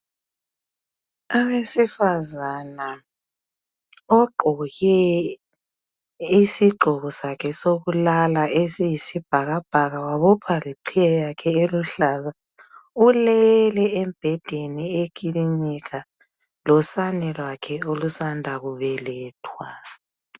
owesifazana ogqoke isigqokosakhe sokulala esiyisibhakabhaka wabophaleqhiye yakhe eluhlaza ulele embhedeni eklinika losane lwakhe olusanda kubelethwa